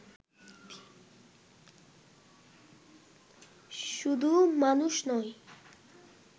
শুধু মানুষ নয়